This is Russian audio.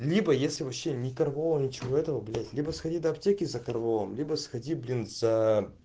либо если вообще никого ничего этого блять либо сходи до аптеки за корвалолом либо сходи блин за